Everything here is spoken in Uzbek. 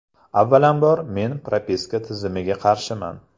Avvalambor, men propiska tizimiga qarshiman.